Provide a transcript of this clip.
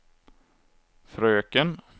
fröken